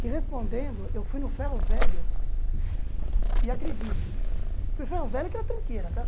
Te respondendo, eu fui no ferro velho, e acredite, o ferro velho é aquela tranqueira, tá?